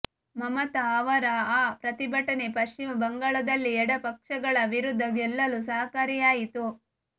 ಮಮತಾ ಅವರ ಆ ಪ್ರತಿಭಟನೆ ಪಶ್ಚಿಮ ಬಂಗಾಳದಲ್ಲಿ ಎಡಪಕ್ಷಗಳ ವಿರುದ್ಧ ಗೆಲ್ಲಲು ಸಹಕಾರಿಯಾಯಿತು